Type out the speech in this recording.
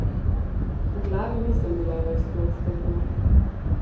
V glavi nisem bila več stoodstotna.